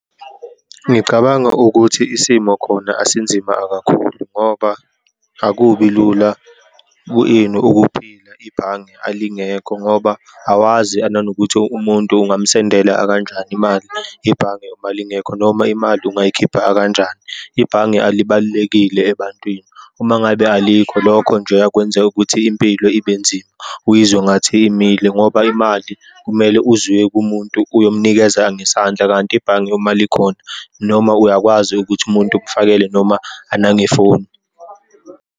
Ngicabanga ukuthi isimo khona asinzima kakhulu, ngoba akubi lula ku ini, ukuphila ibhange alingekho, ngoba awazi ananokuthi umuntu ungamsendela akanjani imali ibhange uma lingekho, noma imali ungayikhipha akanjani. Ibhange alibalulekile ebantwini uma ngabe alikho lokho njeya kwenzeka ukuthi impilo ibe nzima, uyizwe ngathi imile, ngoba imali kumele uzuye kumuntu uyomnikeza ngesandla. Kanti ibhange uma likhona, noma uyakwazi ukuthi umuntu umfakele noma nangefoni.